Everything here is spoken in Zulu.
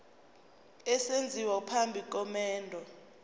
esenziwa phambi komendo